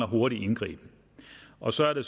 hurtig indgriben og så er det